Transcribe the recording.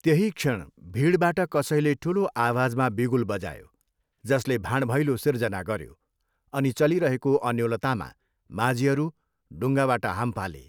त्यही क्षण भिडबाट कसैले ठुलो आवाजमा बिगुल बजायो, जसले भाँडभैलो सिर्जना गर्यो अनि चलिरहेको अन्योलतामा माझीहरू डुङ्गाबाट हामफाले।